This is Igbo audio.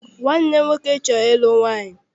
Nwanne m nwoke chọrọ ịlụ nwaanyị.